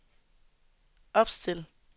opstil